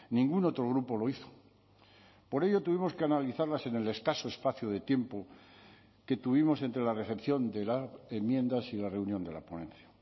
ningún otro grupo lo hizo por ello tuvimos que analizarlas en el escaso espacio de tiempo que tuvimos entre la recepción de las enmiendas y la reunión de la ponencia